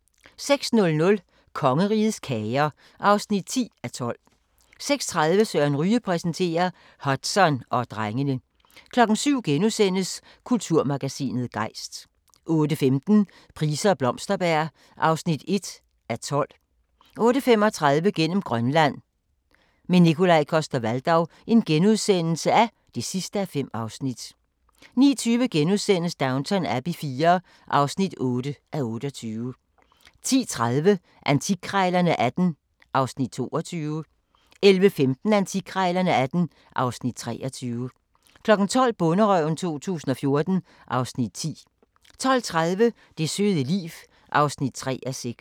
06:00: Kongerigets kager (10:12) 06:30: Søren Ryge præsenterer - Hudson og drengene 07:00: Kulturmagasinet Gejst * 08:15: Price og Blomsterberg (1:12) 08:35: Gennem Grønland – med Nikolaj Coster-Waldau (5:5)* 09:20: Downton Abbey IV (8:28)* 10:30: Antikkrejlerne XVIII (Afs. 22) 11:15: Antikkrejlerne XVIII (Afs. 23) 12:00: Bonderøven 2014 (Afs. 16) 12:30: Det søde liv (3:6)